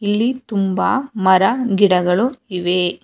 ಇಲ್ಲಿ ತುಂಬ ಮರ ಗಿಡಗಳು ಇವೆ.